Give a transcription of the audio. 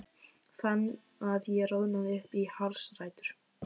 Fann að ég roðnaði upp í hársrætur.